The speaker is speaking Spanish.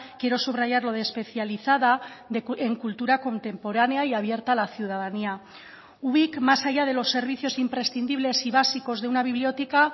quiero subrayar lo de especializada en cultura contemporánea y abierta a la ciudadanía ubik más allá de los servicios imprescindibles y básicos de una biblioteca